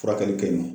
Furakɛli kɛ yen nɔ